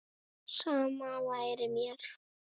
Sama væri mér.